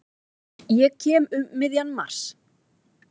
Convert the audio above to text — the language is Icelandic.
Ég kem um miðjan mars.